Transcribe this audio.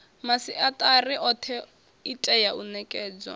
masiatari othe itea u nekedzwa